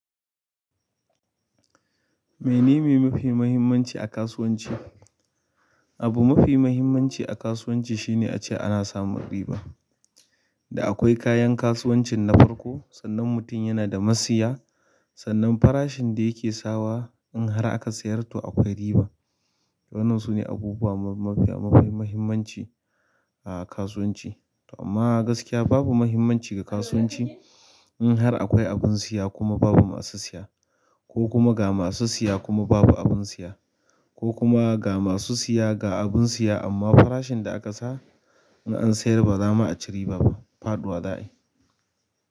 Me nene mafi mahimmanci a kasuwanci? Abu mafi mahimmanci a kasuwanci shine ace ana samun riba. Da akwai kayan kasuwancin na farko, sannan mutum yana da masiya, sannan farashin da yake sawa in har aka sayar ta akwai riba. Wannan sune abubuwa mafiya muhimmanci a kasuwanci amma gaskiya mahimmanci ga kasuwanci in har akwai abin siya kuma babu masu siya. Ko kuma ga masu siya kuma babu abin siya ko kuma, ga masu siya ga abun siya amma farashin da aƙasa in an sayar baza ma aci riba ba. Faɗuwa za'ayi.